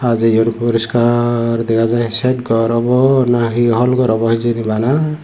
hajeyon poriskar dega jaai set gor awbw nahi hol gor awbw hijeni bana.